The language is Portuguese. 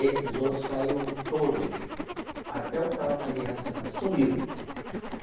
Esses outros caíram todos, até o que estava com a aliança né, sumiu.